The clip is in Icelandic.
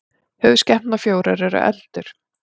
höfuðskepnurnar fjórar eru eldur